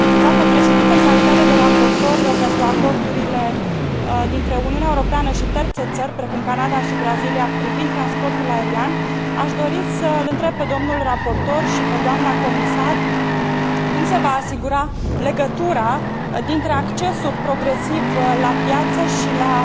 Dnă președinte, în calitate de raportor pentru acordurile dintre Uniunea Europeană și terțe țări, precum Canada și Brazilia, privind transportul aerian, aș dori să îl întreb pe dl raportor și pe dna comisar cum se va asigura legătura dintre accesul progresiv la piață și la